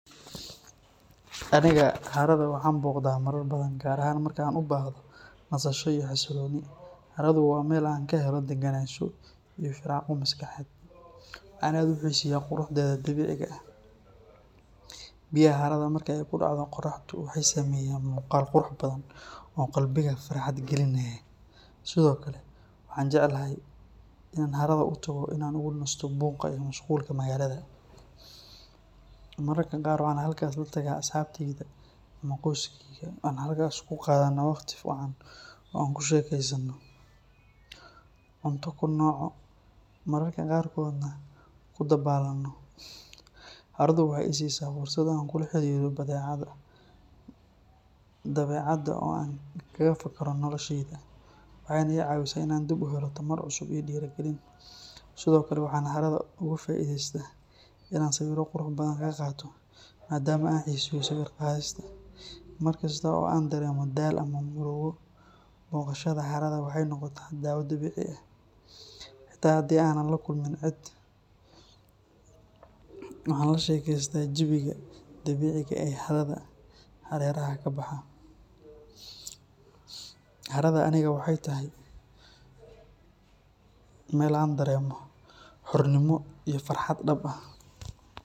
Aniga harada waan booqdaa marar badan, gaar ahaan marka aan u baahdo nasasho iyo xasillooni. Haradu waa meel aan ka helo degenaansho iyo firaaqo maskaxeed, waxaana aad u xiiseeyaa quruxdeeda dabiiciga ah. Biyaha harada marka ay ku dhaco qoraxdu waxay sameeyaan muuqaal qurux badan oo qalbiga farxad gelinaya. Sidoo kale, waxaan jeclahay inaan harada u tago si aan uga nasto buuqa iyo mashquulka magaalada. Mararka qaar waxaan halkaas la tagaa asxaabtayda ama qoyskeyga, waxaana halkaas ku qaadanaa waqti wacan oo aan ku sheekaysano, cunto ku cunno, mararka qaarkoodna ku dabaalanno. Haradu waxay i siisaa fursad aan kula xiriiro dabeecadda oo aan kaga fakaro noloshayda, waxayna i caawisaa inaan dib u helo tamar cusub iyo dhiirigelin. Sidoo kale, waxaan harada uga faa’iidaystaa inaan sawirro qurux badan ka qaato, maadaama aan xiiseeyo sawir-qaadista. Markasta oo aan dareemo daal ama murugo, booqashada harada waxay noqotaa daawo dabiici ah. Xitaa haddii aanan la kulmin cid, waxaan la sheekaystaa jawiga dabiiciga ah ee harada hareeraheeda ka baxa. Harada aniga waxay tahay meel aan dareemo xornimo iyo farxad dhab ah.